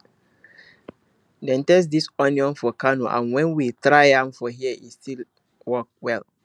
dem test this onion for kano and when we try am for here e e still work well